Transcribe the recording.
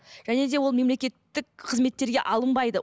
және де ол мемлекеттік қызметтерге алынбайды